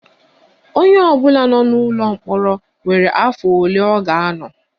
Onye ọbụla nọ n'ụlọ mkpọrọ nwere afọ ole ọ ga-anọ